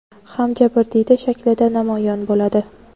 ham jabrdiyda shaklida namoyon bo‘ladi.